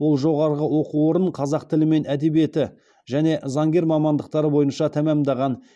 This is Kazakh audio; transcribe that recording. ол жоғарғы оқу орын қазақ тілі мен әдебиеті және заңгер мамандықтары бойынша тәмамдаған